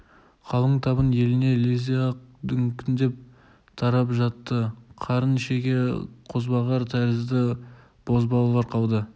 қалың табын еліне лезде-ақ дүңкілдеп тарап жатты қарын шеге қозбағар тәрізді бозбалалар қалды